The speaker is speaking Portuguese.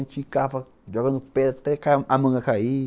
A gente ficava jogando pedra até a manga cair.